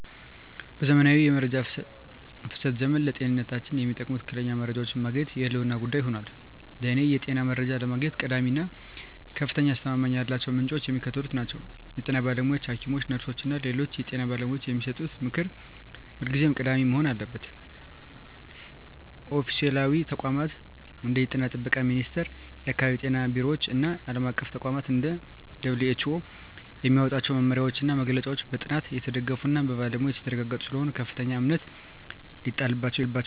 በዘመናዊው የመረጃ ፍሰት ዘመን፣ ለጤንነታችን የሚጠቅሙ ትክክለኛ መረጃዎችን ማግኘት የህልውና ጉዳይ ሆኗል። ለእኔ የጤና መረጃ ለማግኘት ቀዳሚ እና ከፍተኛ አስተማማኝነት ያላቸው ምንጮች የሚከተሉት ናቸው 1) የጤና ባለሙያዎች: ሐኪሞች፣ ነርሶች እና ሌሎች የጤና ባለሙያዎች የሚሰጡት ምክር ሁልጊዜም ቀዳሚ መሆን አለበት። 2)ኦፊሴላዊ ተቋማት: እንደ የጤና ጥበቃ ሚኒስቴር፣ የአካባቢ ጤና ቢሮዎች እና ዓለም አቀፍ ተቋማት (እንደ WHO) የሚያወጧቸው መመሪያዎችና መግለጫዎች በጥናት የተደገፉና በባለሙያዎች የተረጋገጡ ስለሆኑ ከፍተኛ እምነት ሊጣልባቸው ይገባል።